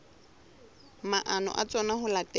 maano a tsona ho latela